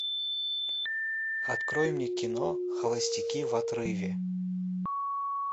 открой мне кино холостяки в отрыве